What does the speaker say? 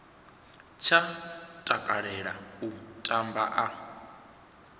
tsha takalela u tamba a